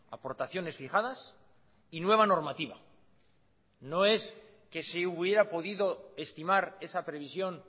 aportaciones fijadas y nueva normativa no es que si hubiera podido estimar esa previsión